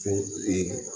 Ko ee